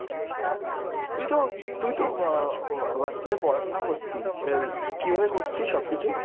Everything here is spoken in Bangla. তুইতো তুইতো অ Whatsapp এ পড়াশোনা করতি, এই কীভাবে করতি সবকিছু ?